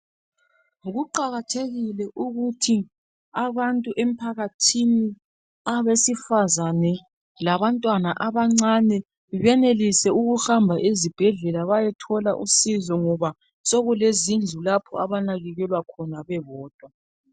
Kuqakathekile ukuthi abantu emphakathini abasifazana labantwana abancane benelise ukuhamba ezibhedlela bayethola usizo ngoba sokulezindlu lapho abanakekelwa khona bebodwa.